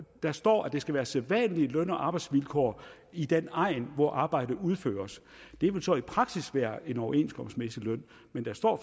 der står at det skal være sædvanlige løn og arbejdsvilkår i den egn hvor arbejdet udføres det vil så i praksis være en overenskomstmæssig løn men der står